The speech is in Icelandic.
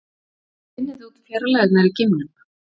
Hvernig finnið þið út fjarlægðirnar í geimnum?